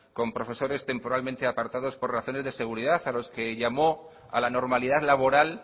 con profesores temporalmente apartados por razones de seguridad a los que llamó a la normalidad laboral